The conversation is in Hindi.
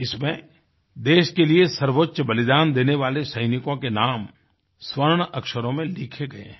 इसमें देश के लिए सर्वोच्च बलिदान देने वाले सैनिकों के नाम स्वर्ण अक्षरों में लिखे गए हैं